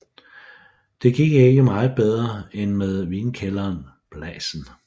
Det gik ikke meget bedre end med vinkælderen Blasen